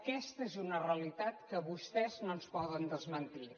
aquesta és una realitat que vostès no ens poden desmentir